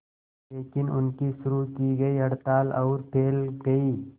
लेकिन उनकी शुरू की गई हड़ताल और फैल गई